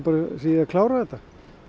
í að klára þetta